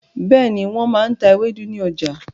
Bẹ́ẹ̀ni, wọ́n máa n ta ewédú ní ọjà